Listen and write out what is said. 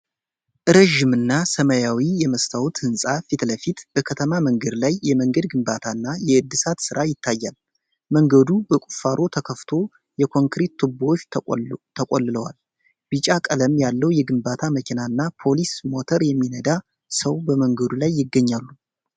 ረዥም እና ሰማያዊ የመስታወት ህንፃ ፊት ለፊት በከተማ መንገድ ላይ የመንገድ ግንባታና የእድሳት ስራ ይታያል። መንገዱ በቁፋሮ ተከፍቶ የኮንክሪት ቱቦዎች ተቆልለዋል። ቢጫ ቀለም ያለው የግንባታ መኪና እና ፖሊስ ሞተር የሚነዳ ሰው በመንገዱ ላይ ይገኛሉ።